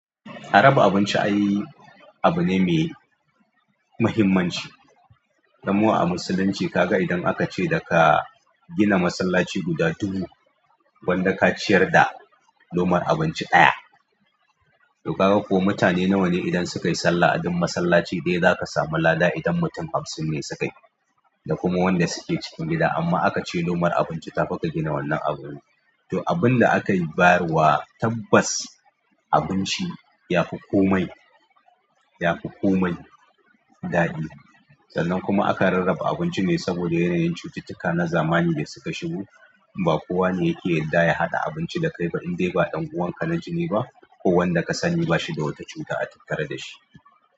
A raba abinci ai abune mai muhimmanci, kamar a musulunci kaga idan akace daka gina masallaci guda dubu gwanda kaciyar da lomar abinci ɗaya. To kaga ko mutane nawane idan sukayi sallah a dun masallaci ɗaya zaka samu lada idan mutum hamsinne sukayi da kuma wanda suke cikin gida amma aka ce lomar abinci tafi kagina wannan abun. To abunda akayi bayarwa tabbas abinci yafi komai, yafi komai daɗi. Sannan kuma aka rarraba abincine saboda yanayin cututtuka na zamani da suka shigo. Ba kowane yake yarda ya haɗa abinci dakai ba indai ba ɗan uwanka na jini ba ko wanda kasani bashida wata cuta a tattare dashi.